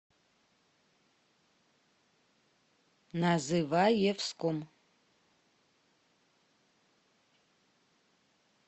называевском